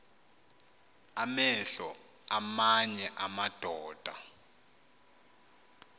amehlo aamanye amadoda